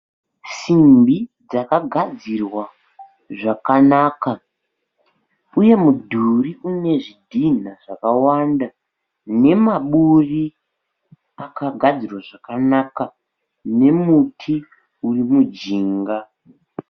Simbi dzakagadzirwa zvakanaka. Iye mudhuri unezvidhina zvakawanda nemaburi akagadzirwa zvakanaka. Nemuti urimujinga.